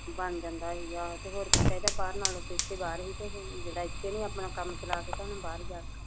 ਬਣ ਜਾਂਦਾ ਸੀਗਾ ਤੇ ਹੋਰ ਕੀ ਚਾਹੀਦਾ ਬਾਹਰੋਂ ਨਾਲ਼ ਤੋਂ ਏਥੇ ਬਾਹਰ ਸੀ ਤੇ ਜਿਹਦਾ ਇੱਥੇ ਨੀ ਆਪਣਾ ਕੰਮ ਚਲਾ ਸਕਿਆ ਉਹਨੇ ਬਾਹਰ ਜਾ ਕੇ ਕੀ ਕਰਨਾ